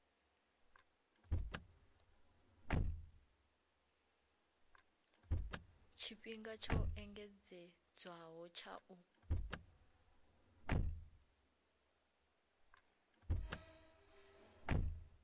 tshifhinga tsho engedzedzwaho tsha u